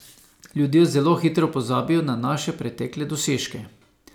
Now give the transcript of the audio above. Ljudje zelo hitro pozabijo na naše pretekle dosežke.